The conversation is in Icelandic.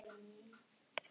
Jafnvel Ástríði og